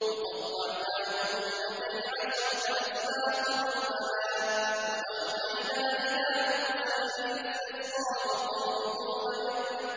وَقَطَّعْنَاهُمُ اثْنَتَيْ عَشْرَةَ أَسْبَاطًا أُمَمًا ۚ وَأَوْحَيْنَا إِلَىٰ مُوسَىٰ إِذِ اسْتَسْقَاهُ قَوْمُهُ أَنِ